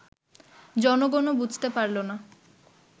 জনগণও বুঝতে পারল না